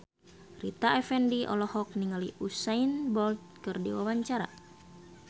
Rita Effendy olohok ningali Usain Bolt keur diwawancara